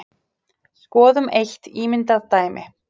Skoðum eitt ímyndað dæmi.